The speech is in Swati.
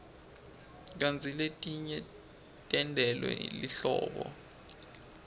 kantsi letinye tentelwe lihlobo